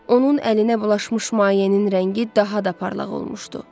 Onun əlinə bulaşmış mayenin rəngi daha da parlaq olmuşdu.